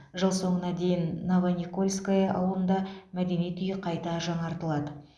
жыл соңына дейін новоникольская ауылында мәдениет үйі қайта жаңартылады